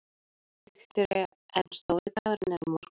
Viktoría: En stóri dagurinn er á morgun?